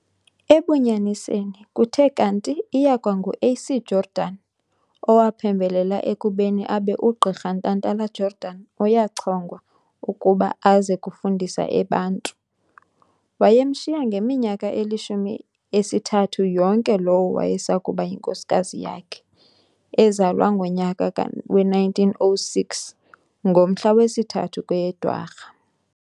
Ebunyaniseni, kuthe kanti iyakwa ngu A.C Jordan owaphembelela ekubeni abe uGqirha Ntantala-Jordan uyachongwa ukuba aze kufundisa e Bantu. Wayemshiya ngeminyaka elishumi esithathu yonke lowo wayesakuba yinkosikazi yakhe, ezalwe ngonyaka we 1906, ngomhla wesithathu kweyeDwarha.